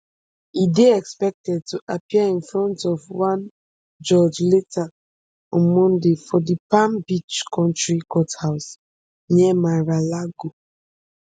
e dey expected to appear in front of one judge later on monday for di palm beach county courthouse near maralago